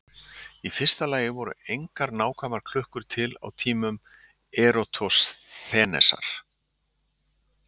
í fyrsta lagi voru engar nákvæmar klukkur til á tímum eratosþenesar